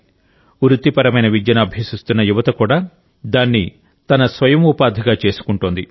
వృత్తిపరమైన విద్యను అభ్యసిస్తున్న యువత కూడా దాన్ని తమ స్వయం ఉపాధిగా చేసుకుంటోంది